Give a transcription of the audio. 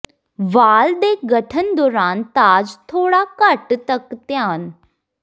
ਵਾਲ ਦੇ ਗਠਨ ਦੌਰਾਨ ਤਾਜ ਥੋੜ੍ਹਾ ਘੱਟ ਤੱਕ ਧਿਆਨ